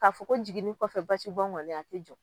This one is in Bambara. K'a fɔ ko n jiginni kɔfɛ basibɔn kɔni a ti jɔ